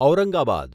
Aurangabad